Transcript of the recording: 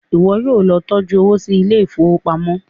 iwọ yóò ló tọjú owo sí Ilé ìfowópamọ́.